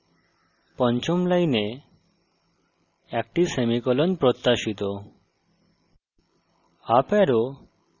এটি বলে যে পঞ্চম line একটি semicolon প্রত্যাশিত